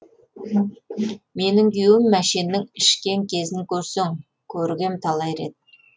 менің күйеуім мәшеннің ішкен кезін көрсең көргем талай рет